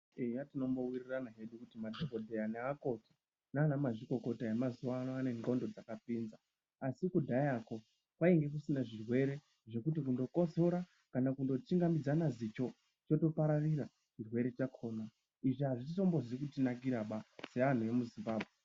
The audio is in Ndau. Eya tinombowirirana hedu kuti madhokodheya nemakoti nana mazvikokota emazuwa ano ane dhlondo dzakapinza asi kudhayako kwainge kusina zvirwere zvekuti kundokotsora kana kundo chingamidzana zicho chotopararira chirwere chakona, izvi azvizi kutinakira seanhu emuZimbabwe.